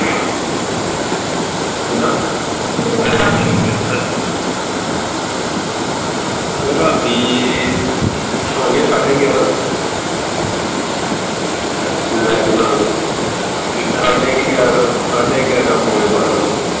ਰਾਤੀ ਸੌ ਗਏ ਸਾਢੇ ਗਿਆਰਾਂ ਮੈਂ ਤੇ ਨਾਲ ਦੇ ਸਾਢੇ ਕਿ ਗਿਆਰਾਂ ਸਾਢੇ ਗਿਆਰਾਂ ਪੌਣੇ ਬਾਰਾਂ ਵਜ